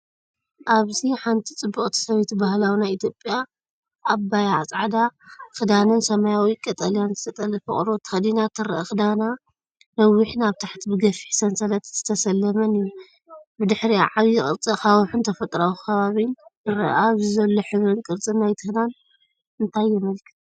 ኣብዚሓንቲ ጽብቕቲ ሰበይቲ ባህላዊ ናይ ኢትዮጵያ ኣባያ ጻዕዳ ክዳንን ሰማያውን ቀጠልያን ዝተጠልፈ ቆርበት ተኸዲና ትርአ። ክዳና ነዊሕን ኣብ ታሕቲ ብገፊሕ ሰንሰለት ዝተሰለመን እዩ። ብድሕሪኣ ዓቢ ቅርጺ ኣኻውሕን ተፈጥሮኣዊ ከባቢን ይርአ። ኣብዚ ዘሎ ሕብርን ቅርጽን ናይቲ ክዳን እንታይ የመልክት?